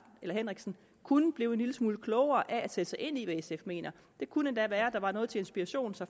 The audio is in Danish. henriksen kunne blive en lille smule klogere af at sætte sig ind i hvad sf mener det kunne endda være at der var noget til inspiration så